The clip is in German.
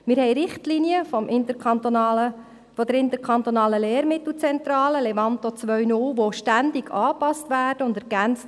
Wir haben Richtlinien der ILZ, Levanto 2.0, die ständig angepasst und ergänzt werden.